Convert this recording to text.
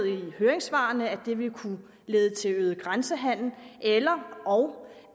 i høringssvarene fremhævet at det vil kunne lede til øget grænsehandel ellerog